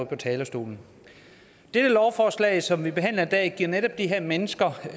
på talerstolen dette lovforslag som vi behandler i dag giver netop de her mennesker